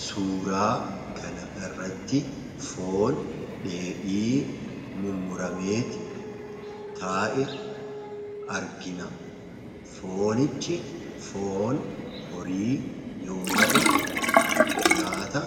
Suuraa kana irratti foon dheedhii mummuramee taa'e argina. Foonichi foon horii yoo ta'u nyaata